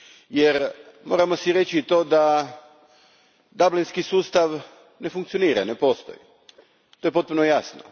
Jer moramo si reći da Dublinski sustav ne funkcionira, ne postoji. To je potpuno jasno.